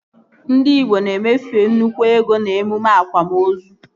Ndị igbo na-emefu nnukwu ego n'emume akwamozu